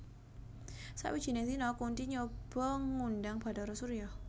Sawijining dina Kunthi nyoba ngundhang Bathara Surya